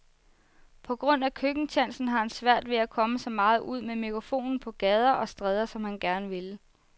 På grund af køkkentjansen har han svært ved at komme så meget ud med megafonen på gader og stræder, som han gerne ville.